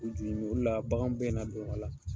U ju o le la bagan bɛna don a la.